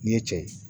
Nin ye cɛ ye